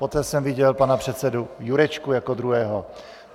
Poté jsem viděl pana předsedu Jurečku jako druhého.